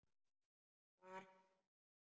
Var hann hérna?